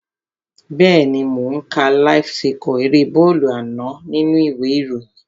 Bẹ́ẹ̀ni mò ó ń ka láíf síkọ̀ erée bọ́ọ̀lù àná nínú u ìwé ìròyìn